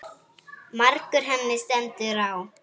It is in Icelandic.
Margur henni stendur á.